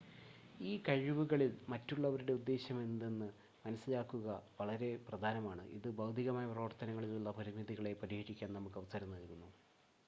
ഈ കഴിവുകളിൽ മറ്റുള്ളവരുടെ ഉദ്ദേശമെന്തെന്ന് മനസ്സിലാക്കുക വളരെ പ്രധാനമാണ് ഇത് ഭൌതികമായ പ്രവർത്തനങ്ങളിലുള്ള പരിമിതികളെ പരിഹരിക്കാൻ നമുക്ക് അവസരം നൽകുന്നു